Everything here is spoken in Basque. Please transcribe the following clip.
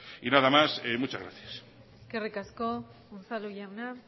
nada más muchas gracias eskerrik asko unzalu jauna